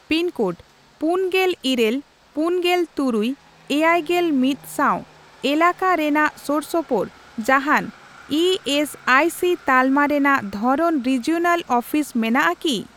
Pin code ᱯᱩᱱᱜᱮᱞ ᱤᱨᱟᱹᱞ, ᱯᱩᱱᱜᱮᱞ ᱛᱩᱨᱩᱭ, ᱮᱭᱟᱭᱜᱮᱞ ᱢᱤᱫ ᱥᱟᱣ ᱮᱞᱟᱠᱟ ᱨᱮᱱᱟᱜ ᱥᱳᱨᱥᱳᱯᱳᱨ ᱡᱟᱦᱟᱸᱱ ᱤ ᱮᱥ ᱟᱭ ᱥᱤ ᱛᱟᱞᱢᱟ ᱨᱮᱱᱟᱜ ᱫᱷᱚᱨᱚᱱ ᱨᱤᱡᱤᱚᱱᱟᱞ ᱚᱯᱷᱤᱥ ᱢᱮᱱᱟᱜᱼᱟ ᱠᱤ ?